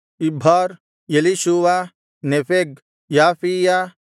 Ibhar Elishua Nepheg ಯಾಫೀಯ